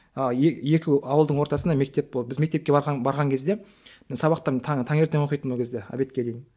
ыыы екі ауылдың ортасында мектеп болды біз мектепке барған барған кезде сабақтан танертең оқитынмын ол кезде обедке дейін